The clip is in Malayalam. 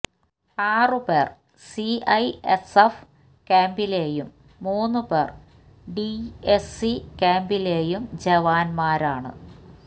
ആറ് പേര് സിഐഎസ്എഫ് ക്യാമ്പിലെയും മൂന്ന് പേര് ഡിഎസ്സി ക്യാമ്പിലെയും ജവാന്മാരാണ്